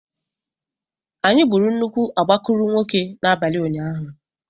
Anyị gburu nnukwu agbakụrụnwokē n'abalị ụnyaahụ.